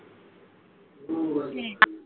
হ্যা